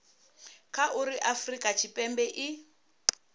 kha uri afurika tshipembe i